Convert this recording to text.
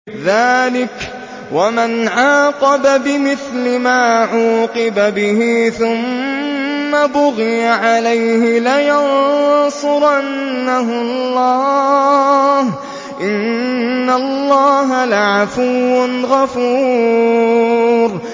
۞ ذَٰلِكَ وَمَنْ عَاقَبَ بِمِثْلِ مَا عُوقِبَ بِهِ ثُمَّ بُغِيَ عَلَيْهِ لَيَنصُرَنَّهُ اللَّهُ ۗ إِنَّ اللَّهَ لَعَفُوٌّ غَفُورٌ